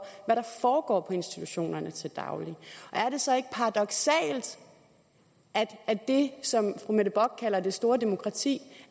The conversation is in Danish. hvad der foregår på institutionerne til daglig er det så ikke paradoksalt at det som fru mette bock kalder det store demokrati